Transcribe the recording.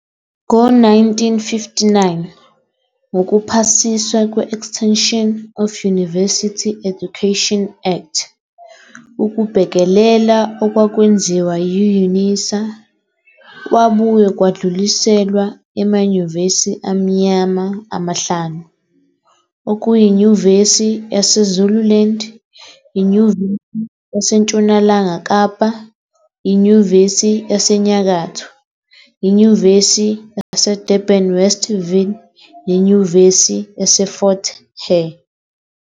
Ngo-1959, ngokuphasiswa kwe-Extension of University Education Act, ukubhekelela okwakwenziwa yi-UNISA kwabuye kwadluliselwa "emanyuvesi amnyama" amahlanu, okuyi Nyuvesi yase Zululand, iNyuvesi yaseNtshonalanga Kapa, iNyuvesi yaseNyakatho, iNyuvesi yaseDurban-Westville, neNyuvesi yaseFort Hare.